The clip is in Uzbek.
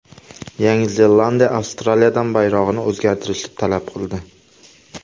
Yangi Zelandiya Avstraliyadan bayrog‘ini o‘zgartirishni talab qildi.